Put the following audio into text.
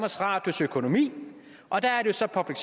radios økonomi og der er der så public